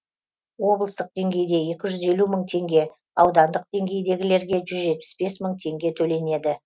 облыстық деңгейде екі жүз елу мың теңге аудандық деңгейдегілерге жүз жетпіс бес мың теңге төленеді